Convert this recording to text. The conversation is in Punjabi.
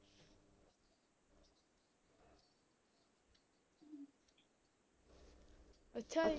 ਅੱਛਾ ਜੀ